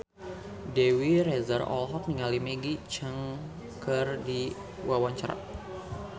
Dewi Rezer olohok ningali Maggie Cheung keur diwawancara